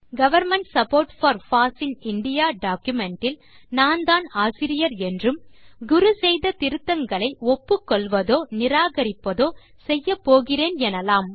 government support for foss in indiaடாக்குமென்ட் இல் நான்தான் ஆசிரியர் என்றும் குரு செய்த திருத்தங்களை ஒப்புக்கொள்வதோ நிராகரிப்பதோ செய்யப்போகிறேன் எனலாம்